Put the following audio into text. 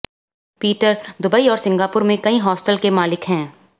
Peter Dubai और Singapore में कई हॉटल्स के मालिक हैं